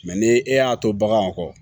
ni e y'a to baganw kɔ